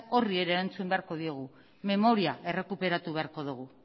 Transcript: horri ere erantzun beharko diogu memoria errekuperatu beharko dugu